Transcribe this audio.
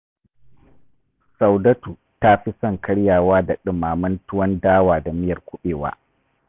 Saudatu ta fi son karyawa da ɗumamen tuwon dawa da miyar kuɓewa